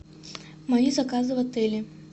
мои заказы в отеле